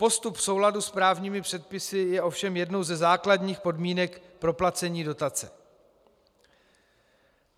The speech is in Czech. Postup v souladu s právními předpisy je ovšem jednou ze základních podmínek proplacení dotace.